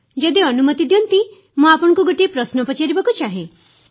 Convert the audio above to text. ଯଦି ଅନୁମତି ଦିଅନ୍ତି ମୁଁ ଆପଣଙ୍କୁ ଗୋଟିଏ ପ୍ରଶ୍ନ ପଚାରିବାକୁ ଚାହେଁ